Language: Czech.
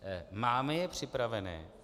Máme je připravené?